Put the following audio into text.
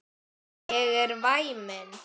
Ég er væmin.